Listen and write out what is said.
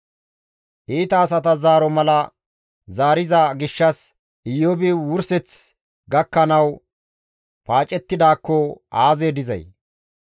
Iita asata zaaro mala zaariza gishshas Iyoobi wurseththi gakkanawu paacettidaakko aazee dizay!